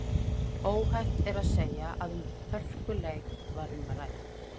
Óhætt er að segja að um hörkuleik var um að ræða.